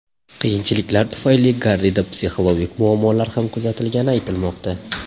Qiyinchiliklar tufayli Garrida psixologik muammolar ham kuzatilgani aytilmoqda.